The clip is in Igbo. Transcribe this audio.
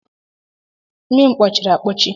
Imi m kpọchiri akpọchi.